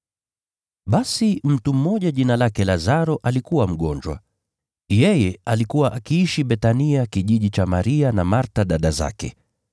Basi mtu mmoja jina lake Lazaro alikuwa mgonjwa. Yeye alikuwa akiishi Bethania kijiji cha Maria na Martha dada zake.